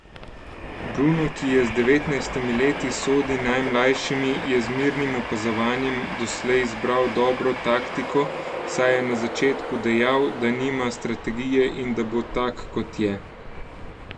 Bruno, ki je z devetnajstimi leti sodi najmlajšimi, je z mirnim opazovanjem doslej izbral dobro taktiko, saj je na začetku dejal, da nima strategije in da bo tak, kot je.